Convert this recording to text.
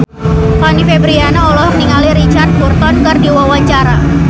Fanny Fabriana olohok ningali Richard Burton keur diwawancara